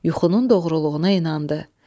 Yuxunun doğruluğuna inandı.